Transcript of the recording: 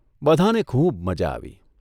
બધાંને ખુબ મજા આવી.